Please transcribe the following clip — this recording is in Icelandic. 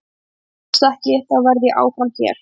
Ef það gerist ekki, þá verð ég áfram hér.